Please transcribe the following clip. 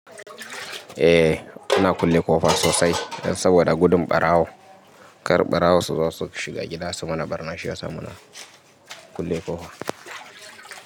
Eh, muna kulle ƙofa sosai dan saboda gudun ɓarawo. Kar ɓarawo su zo su shiga gida su mana ɓarna shi yasa, muna kulle ƙofa.